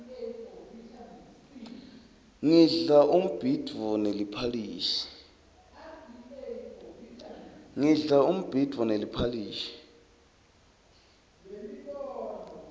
ngidla umbhidvo neliphalishi